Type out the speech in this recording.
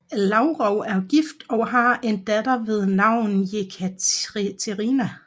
Lavrov er gift og har en datter ved navn Jekaterina